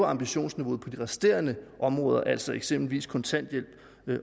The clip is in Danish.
ambitionsniveauet på de resterende områder altså eksempelvis kontanthjælp